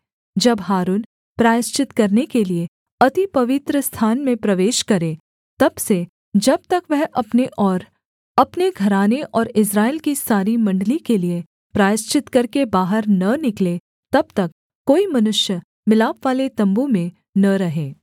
जब हारून प्रायश्चित करने के लिये अति पवित्रस्थान में प्रवेश करे तब से जब तक वह अपने और अपने घराने और इस्राएल की सारी मण्डली के लिये प्रायश्चित करके बाहर न निकले तब तक कोई मनुष्य मिलापवाले तम्बू में न रहे